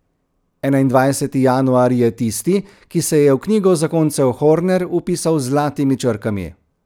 Enaindvajseti januar je tisti, ki se je v knjigo zakoncev Horner vpisal z zlatimi črkami.